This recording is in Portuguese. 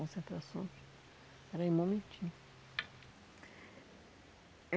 concentrações. Espera aí um momentinho.